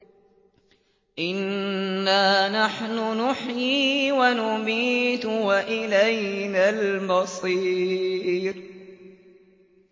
إِنَّا نَحْنُ نُحْيِي وَنُمِيتُ وَإِلَيْنَا الْمَصِيرُ